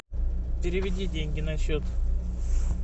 переведи деньги на счет